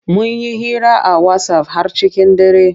Mun yi hira a wasaf har cikin dare.